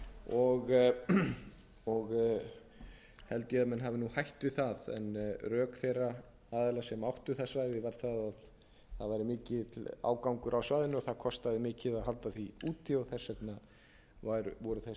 og held ég að menn hafi hætt við það en rök þeirra aðila sem áttu það svæði var að það væri mikill ágangur á svæðinu og það kostaði mikið að hald því úti og þess vegna voru þessi